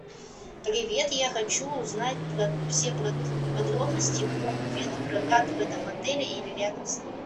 привет я хочу узнать все подробности про велопрокат в этом отеле или рядом с ним